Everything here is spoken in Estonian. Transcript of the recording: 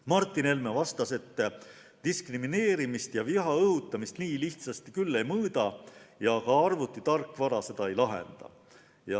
Martin Helme vastas, et diskrimineerimist ja viha õhutamist nii lihtsasti küll ei mõõda ja ka arvutitarkvara seda ei lahenda.